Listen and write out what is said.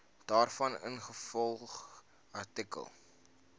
daarvan ingevolge artikel